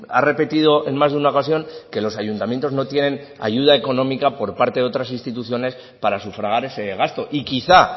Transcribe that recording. ha repetido en más de una ocasión que los ayuntamientos no tienen ayuda económica por parte de otras instituciones para sufragar ese gasto y quizá